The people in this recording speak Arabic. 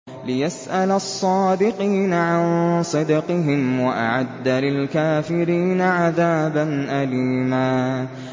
لِّيَسْأَلَ الصَّادِقِينَ عَن صِدْقِهِمْ ۚ وَأَعَدَّ لِلْكَافِرِينَ عَذَابًا أَلِيمًا